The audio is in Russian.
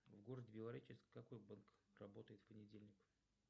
в городе белореченск какой банк работает в понедельник